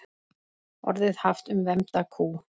Orðið haft um vembda kú.